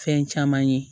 Fɛn caman ye